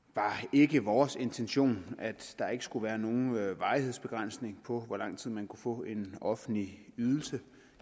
ikke vores intention at der ikke skulle være nogen varighedsbegrænsning på hvor lang tid man kunne få en offentlig ydelse